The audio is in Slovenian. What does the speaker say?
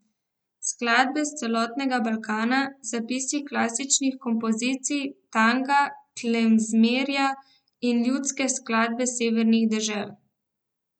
Skladbe s celotnega Balkana, zapisi klasičnih kompozicij, tanga, klezmerja in ljudske skladbe severnih dežel.